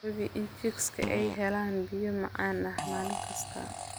Hubi in chicks ay helaan biyo macaan maalin kasta.